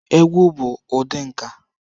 Egwu bụ ụdị nka.